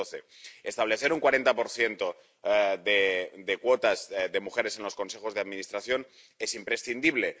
2012. Establecer un 40 de cuotas de mujeres en los consejos de administración es imprescindible.